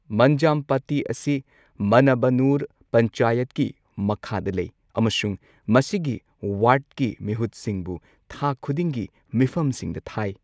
ꯃꯟꯖꯝꯄꯠꯇꯤ ꯑꯁꯤ ꯃꯟꯅꯕꯅꯨꯔ ꯄꯟꯆꯥꯌꯠꯀꯤ ꯃꯈꯥꯗ ꯂꯩ ꯑꯃꯁꯨꯡ ꯃꯁꯤꯒꯤ ꯋꯥꯔꯗꯀꯤ ꯃꯤꯍꯨꯠꯁꯤꯡꯕꯨ ꯊꯥ ꯈꯨꯗꯤꯡꯒꯤ ꯃꯤꯐꯝꯁꯤꯡꯗ ꯊꯥꯏ꯫